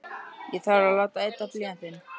Ég þarf að láta ydda blýantinn.